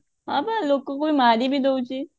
ହଁ ବା ଲୋକକୁ ବି ମାରି ବି ଦଉଛି